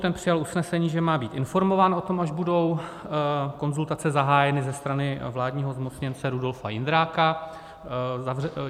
Ten přijal usnesení, že má být informován o tom, až budou konzultace zahájeny ze strany vládního zmocněnce Rudolfa Jindráka.